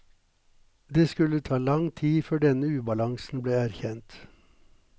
Det skulle ta lang tid før denne ubalansen ble erkjent.